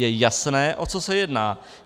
Je jasné, o co se jedná.